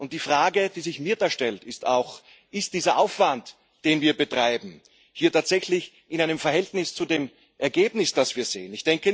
Die Frage, die sich mir stellt, ist Steht Ist dieser Aufwand, den wir betreiben, tatsächlich in einem Verhältnis zu dem Ergebnis, das wir sehen?